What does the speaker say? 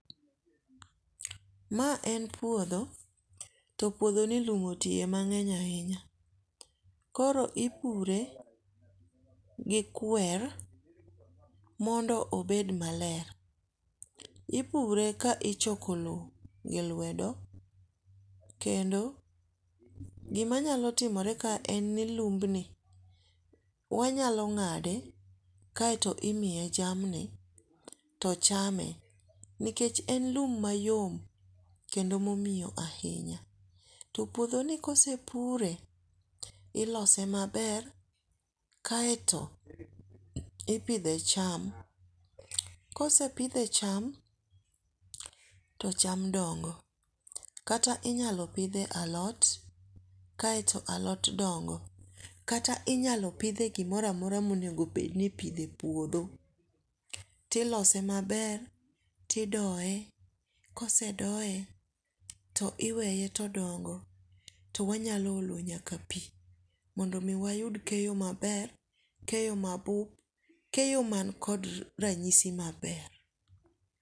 Mae en puotho, to puothoni lum otiye mang'eny ahinya, koro ipure gi kwer mondo obed maler, ipure ka ichoko lowo gilwedo, kendo gimanyalo timore kae en ni lumbni wanyalo ng'ade kaeto imiye jamni to chame nikech en lum mayom, kendo momiyo ahinya, to puothoni ka osepure, ilose maber kaeto ipithe cham, kose pithe e cham to cham dongo kata inyalo pithe alot kaeto alot dongo', kata inyalo pithe e gimoro amora ma inyalo bed ni ipithe e puotho, tilose maber tidoye kosedoye to tiweye todongo to wanyalo olo nyaka pi mondo mi wayud keyo maber, keyo ma bup, keyo man kod ranyisi maber.